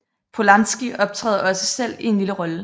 Polanski optræder også selv i en lille rolle